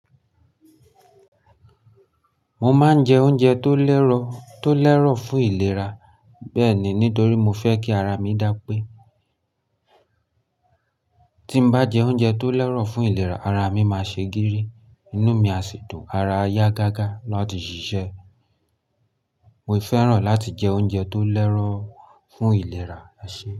Mo máa ń jẹ oúnjẹ tó lẹ́rọ̀ tó lẹ́rọ̀ fún ìlera, bẹ́ẹ̀ni nítorí mo fẹ́ kí ara mi dá pé. Tí n bá jẹ oúnjẹ tó lẹ́rọ̀ fún ìlera, ara mi máa ṣe gírí, inú mi á ṣitò, ara ayá gágá láti ṣiṣẹ́. Mo fẹ́ràn láti jẹ oúnjẹ tó lẹ́rọ̀ fún ìlera ẹ ṣẹ.